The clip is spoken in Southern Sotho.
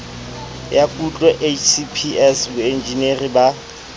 ya kutlo hcps boenjinere ba